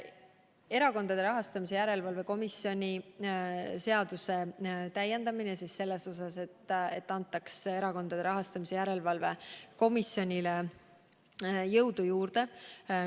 Plaanis on täiendada Erakondade Rahastamise Järelevalve Komisjoni seadust nii, et Erakondade Rahastamise Järelevalve Komisjonile antaks jõudu juurde.